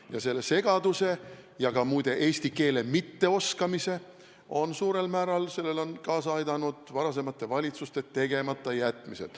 Ja sellele segadusele ja ka, muide, eesti keele mitteoskamisele on suurel määral kaasa aidanud varasemate valitsuste tegematajätmised.